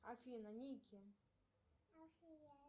афина ники